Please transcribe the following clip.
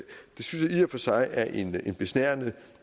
for sig er en besnærende